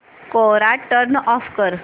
कोरा turn off कर